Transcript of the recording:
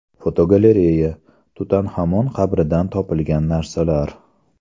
Fotogalereya: Tutanxamon qabridan topilgan narsalar.